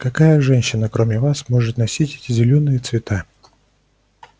какая женщина кроме вас может носить эти зелёные цвета